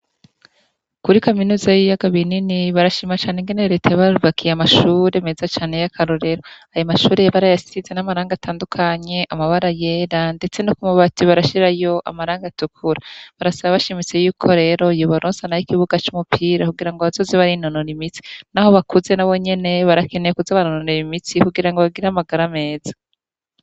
Kuri kaminuza y'iyagabie nini barashimacane ingenereta y bajwakiye amashure meza cane y'akarorero aya mashureye bara yasize n'amaranga atandukanye amabara yera, ndetse no kumubati barashirayo amaranga atukura barasaba abashimiso yuko rero yubaronsana yo ikibuga c'umupira kugira ngo abasozi bari nonoro imitsi, naho bakuze na bo nyeneba akeneye kuzo baroorera imitsi kugira ngo bagira amagara ameza.